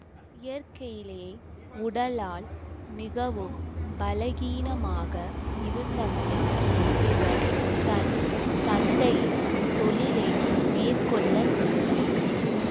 இயற்கையிலேயே உடலால் மிகவும் பலகீனமாக இருந்தமையால் இவர் தன் தந்தையின் தொழிலை மேற்கொள்ளவில்லை